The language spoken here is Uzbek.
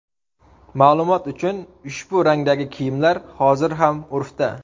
Ma’lumot uchun, ushbu rangdagi kiyimlar hozir ham urfda.